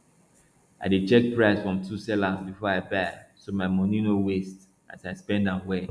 i dey check price from two sellers before i buy so my money no waste as i spend am well